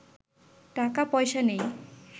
টাকা পয়সা নেই